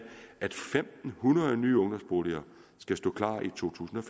at fem hundrede nye ungdomsboliger skal stå klar i to tusind og